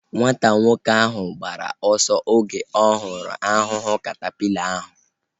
Nwata nwoke ahu gbara ọsọ oge ọ hụrụ ahụhụ katapila ahu